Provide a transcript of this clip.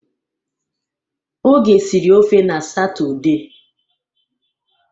Oge siri ofe n'Satọde.